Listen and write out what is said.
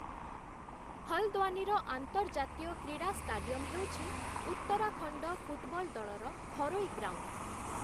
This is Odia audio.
ହଲ୍‌ଦ୍ୱାନିର ଆନ୍ତର୍ଜାତୀୟ କ୍ରୀଡ଼ା ଷ୍ଟାଡିୟମ୍‌ ହେଉଛି ଉତ୍ତରାଖଣ୍ଡ ଫୁଟବଲ ଦଳର ଘରୋଇ ଗ୍ରାଉଣ୍ଡ ।